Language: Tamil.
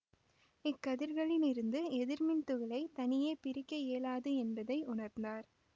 இக்கதிர்களிலிருந்து எதிர் மின்துகளைத் தனியே பிரிக்க இயலாது என்பதை உணர்ந்தார்